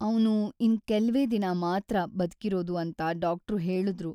ಅವ್ನು ಇನ್ ಕೆಲ್ವೇ ದಿನ ಮಾತ್ರ ಬದ್ಕಿರೋದು ಅಂತ ಡಾಕ್ಟ್ರು ಹೇಳುದ್ರು.